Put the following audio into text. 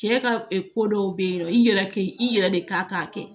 Cɛ ka ko dɔw bɛ yen nɔ i yɛrɛ k'i yɛrɛ de kan k'a kɛ